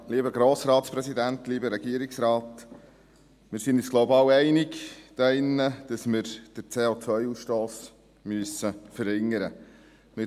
Wir sind uns, glaube ich, alle einig hier drin, dass man den COAusstoss verringern muss.